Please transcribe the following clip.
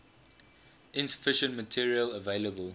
insufficient material available